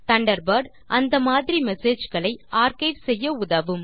Thunderbird அந்த மாதிரி message களை ஆர்க்கைவ் செய்ய உதவும்